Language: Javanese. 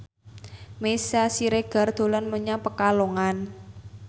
Meisya Siregar dolan menyang Pekalongan